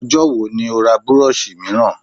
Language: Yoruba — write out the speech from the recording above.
Ọjọ́ wo ni ó ra burọ̀ṣì mìíràn?